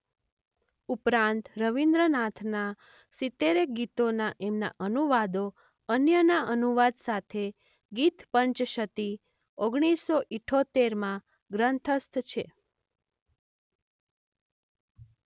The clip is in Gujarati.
ઉપરાંત રવીન્દ્રનાથનાં સિતેરેક ગીતોના એમના અનુવાદો અન્યના અનુવાદ સાથે ગીત પંચશતી ઓગણીસો ઈઠોતેર માં ગ્રંથસ્થ છે.